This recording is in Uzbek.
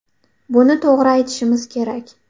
Buni to‘g‘ri aytishimiz kerak.